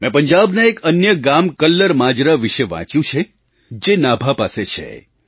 મેં પંજાબના એક અન્ય ગામ કલ્લર માજરા વિશે વાંચ્યું છે જે નાભા પાસે છે